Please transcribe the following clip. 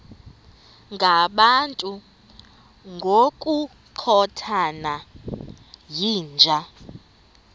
ngabantu ngokukhothana yinja